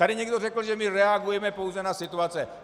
Tady někdo řekl, že my reagujeme pouze na situace.